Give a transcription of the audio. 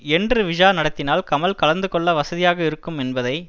என்று விழா நடத்தினால் கமல் கலந்துகொள்ள வசதியாக இருக்கும் என்பதை